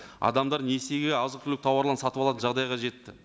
адамдар несиеге азық түлік тауарларын сатып алатын жағдайға жетті